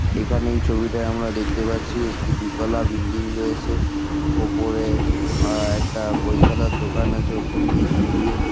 এখানে এই ছবিটায় আমরা দেখতে পাচ্ছি একটি দুতলা বিল্ডিং রয়েছে। আ ওপরে একটা বই খাতার দোকান আছে ওপর নীচ মিলিয়ে ।